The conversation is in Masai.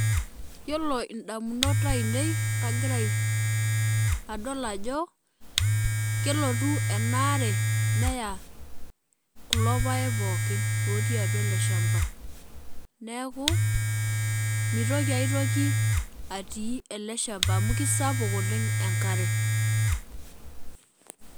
Yiolo indamunot ainei kagira adol ajo kelotu enaare kulo paek pookin lotii atua eleshamba niaku mitoki aetoki atii eleshamba amu kisapuk oleng enkare.